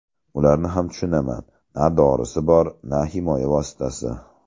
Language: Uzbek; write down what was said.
Ularni ham tushunaman, na dorisi bor, na himoya vositasi.